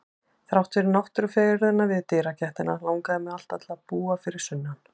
Þrátt fyrir náttúrufegurðina við dyragættina langaði mig alltaf til að búa fyrir sunnan.